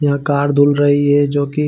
यहाँ कार धूल रही है जोकि --